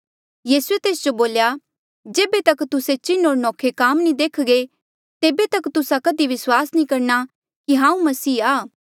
यीसूए तेस जो बोल्या जेबे तक तुस्से चिन्ह होर नौखे काम नी देख्घे तेबे तक तुस्सा कधी विस्वास नी करणा कि हांऊँ मसीहा आ